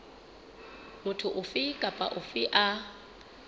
motho ofe kapa ofe a